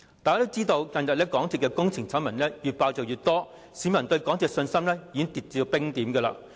大家也知道，近日港鐵公司的工程醜聞越揭越多，市民對港鐵公司的信心已經跌至冰點。